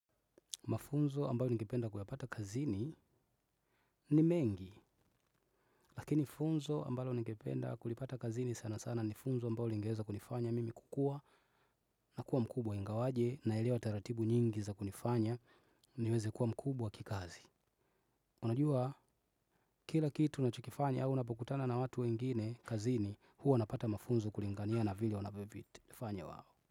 Mafunzo ambayo nikependa kuyapata kazini ni mengi, lakini funzo ambayo nikependa kulipata kazini sana sana ni funzo ambayo lingeweza kunifanya mimi kukua na kuwa mkubwa ingawaje naelewa taratibu nyingi za kunifanya niweze kuwa mkubwa kikazi. Unajua kila kitu nacho kifanya au unapokutana na watu wengine kazini huo napata mafunzo kulingania na vile wanavyovi. Fanya wao.